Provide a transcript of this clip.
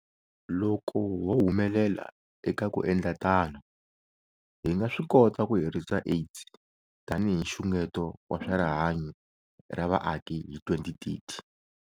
Loko ho humelela eka ku endla tano, hi nga swi kota ku herisa AIDS tanihi nxungeto wa swa rihanyu ra vaaki hi 2030.